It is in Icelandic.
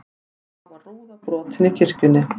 Þá var rúða brotin í kirkjunni